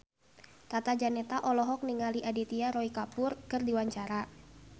Tata Janeta olohok ningali Aditya Roy Kapoor keur diwawancara